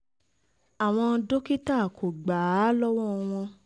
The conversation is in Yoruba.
àwọn um dókítà kò gbà á lọ́wọ́ wọn